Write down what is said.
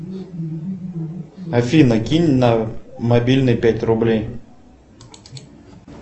афина кинь на мобильный пять рублей